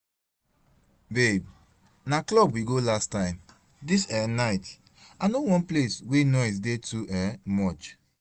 Babe na club we go last time, dis um night I no want place wey noise dey too um much